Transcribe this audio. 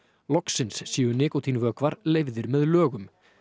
loksins séu leyfðir með lögum